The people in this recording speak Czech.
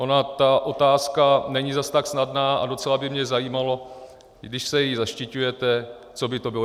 Ona ta otázka není zas tak snadná a docela by mě zajímalo, když se jí zaštiťujete, co by to bylo.